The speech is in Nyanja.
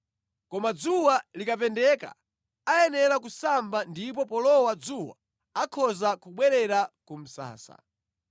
Koma dzuwa likapendeka ayenera kusamba ndipo polowa dzuwa akhoza kubwerera ku msasa.